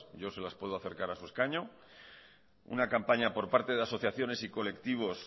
yo se las puedo acercar a su escaño una campaña por parte de asociaciones y colectivos